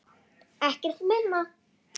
Ekkert minna!